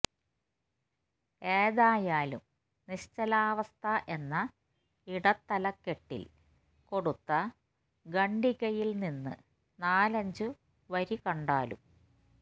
ഏതായാലും നിശ്ചലാവസ്ഥ എന്ന ഇടത്തലക്കെട്ടില് കൊടുത്ത ഖണ്ഡികയില് നിന്ന് നാലഞ്ചു വരികണ്ടാലും